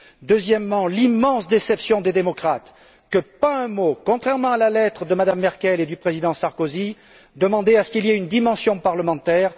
Deuxièmement, l'immense déception des démocrates, que pas un mot contrairement à la lettre de Mme Merkel et du président Sarkozy n'évoque une dimension parlementaire.